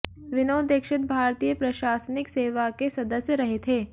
विनोद दीक्षित भारतीय प्रशासनिक सेवा के सदस्य रहे थे